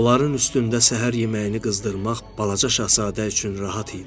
Onların üstündə səhər yeməyini qızdırmaq balaca Şahzadə üçün rahat idi.